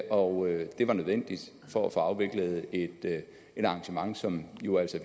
og det var nødvendigt for at få afviklet et arrangement som jo altså